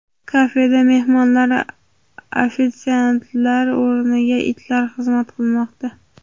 Kafeda mehmonlarga ofitsiantlar o‘rniga itlar xizmat qilmoqda.